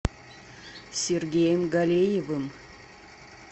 сергеем галеевым